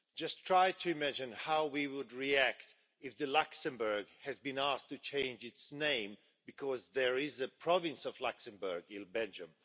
Just try to imagine how we would react if Luxembourg has been asked to change its name because there is a province of Luxembourg in Belgium.